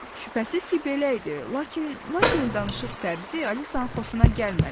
Şübhəsiz ki, belə idi, lakin Lakeyin danışıq tərzi Alisanın xoşuna gəlmədi.